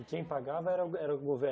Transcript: E quem pagava era o go era o governo